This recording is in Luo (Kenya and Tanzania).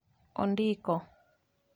ondiko